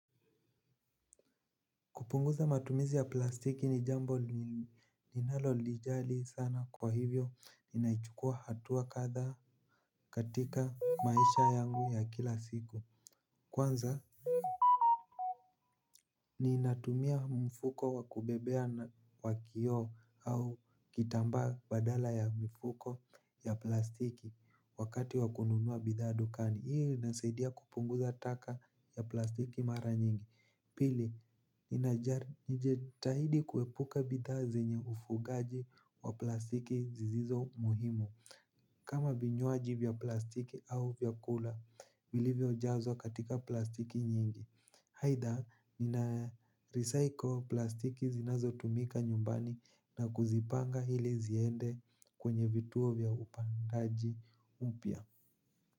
Kupunguza matumizi ya plastiki ni jambo ninalo lijali sana kwa hivyo ninaichukua hatua kadhaa katika maisha yangu ya kila siku kwanza ninatumia mfuko wa kubebea wa kioo au kitambaa badala ya mfuko ya plastiki wakati wa kununua bidhaa dukani. Hii inasaidia kupunguza taka ya plastiki mara nyingi. Pili, inajali najitahidi kuepuka bidhaa zenye ufugaji wa plastiki zisizo muhimo kama vinywaji vya plastiki au vyakula vilivyo jazwa katika plastiki nyingi aidha, nina recycle plastiki zinazo tumika nyumbani na kuzipanga ili ziende kwenye vituo vya upangaji upya.